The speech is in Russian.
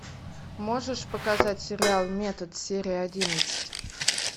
можешь показать сериал метод серия одиннадцать